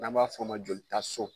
N'an b'a f'o ma joli ta so